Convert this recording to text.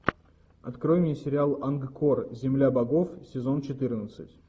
открой мне сериал ангкор земля богов сезон четырнадцать